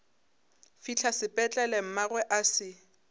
fihla sepetlele mmagwe a se